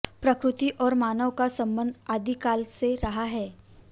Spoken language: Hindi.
प्रकृति और मानव का संबंध आदिकाल से रहा है